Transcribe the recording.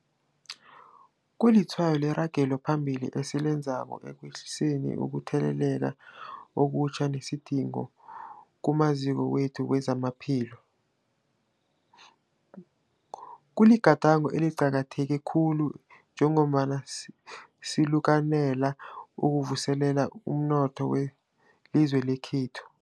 Kulitshwayo leragelo phambili esilenzako ekwehliseni ukutheleleka okutjha nesidingo kumaziko wethu wezamaphilo. Kuligadango eliqakatheke khulu njengombana sikalukanela ukuvuselela umnotho welizwe lekhethu.